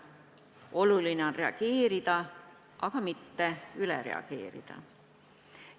Oluline on reageerida, aga mitte üle reageerida.